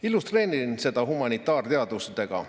Illustreerin seda humanitaarteadustega.